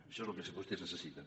això és el que vostès necessiten